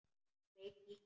Mig kitlar.